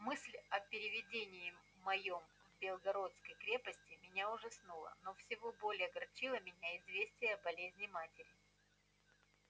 мысль о переведении моем из белогорской крепости меня ужасала но всего более огорчило меня известие о болезни матери